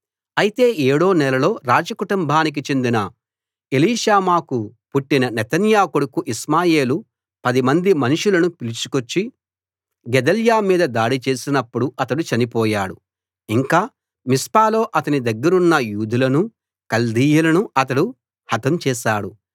అయితే ఏడో నెలలో రాజ కుటుంబానికి చెందిన ఎలీషామాకు పుట్టిన నెతన్యా కొడుకు ఇష్మాయేలు పదిమంది మనుషులను పిలుచుకొచ్చి గెదల్యా మీద దాడి చేసినప్పుడు అతడు చనిపోయాడు ఇంకా మిస్పాలో అతని దగ్గరున్న యూదులనూ కల్దీయులనూ అతడు హతం చేశాడు